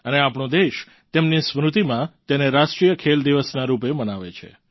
અને આપણો દેશ તેમની સ્મૃતિમાં તેને રાષ્ટ્રીય ખેલ દિવસના રૂપે મનાવે પણ છે